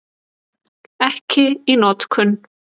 Ekki í notkun.